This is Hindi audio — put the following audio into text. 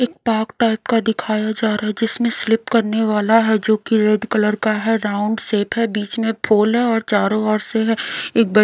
एक पाक टाइप का दिखाया जा रहा है जिसमें स्लिप करने वाला है जो कि रेड कलर का है राउंड शेप है बीच में फूल है और चारों ओर से है एक ब--